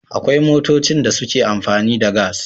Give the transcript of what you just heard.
Akwai motocin da suke amfani da gas